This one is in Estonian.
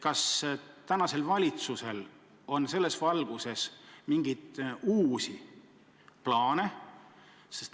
Kas praegusel valitsusel on selles valguses mingeid uusi plaane?